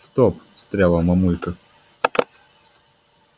стоп встряла мамулька